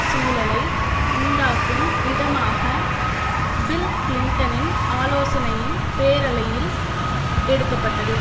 சூழலை உண்டாக்கும் விதமாக பில் கிளின்டனின் ஆலோசனையின் பேரலையில் எடுக்க பட்டது